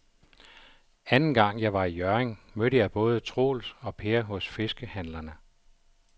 Anden gang jeg var i Hjørring, mødte jeg både Troels og Per hos fiskehandlerne.